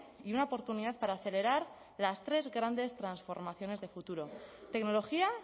y una oportunidad para acelerar las tres grandes transformaciones de futuro tecnología